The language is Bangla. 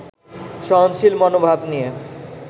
সহনশীল মনোভাব নিয়ে